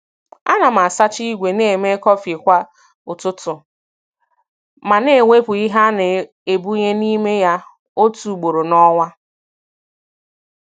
A na m asacha igwe na-eme kọfị kwa ụtụtụ, ma na ewepụ ihe a na-ebunye n'ime ya otu ugboro n'ọnwa.